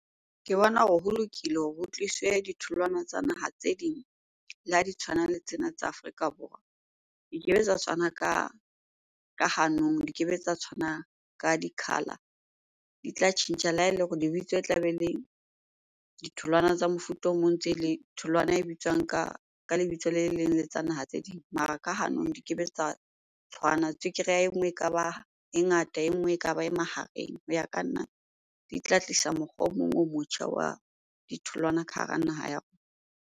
Ke bona hore ho lokile hore ho tliswe ditholwana tsa naha tse ding le ha di tshwana le tsena tsa Afrika Borwa. Di ke be tsa tshwana ka hanong, di kebe tsa tshwanang ka di-color. Di tla tjhentjha, le ha ele hore lebitso e tlabe e le ditholwana tsa mofuta o mong ntse le tholwana e bitswang ka lebitso le le leng le tsa naha tse ding. Mara ka hanong di kebe tsa tshwana. Tswekere ya e nngwe ekaba e ngata, e nngwe ekaba e mahareng. Ho ya ka nna di tla tlisa mokgwa o mong o motjha wa ditholwana ka hara naha ya .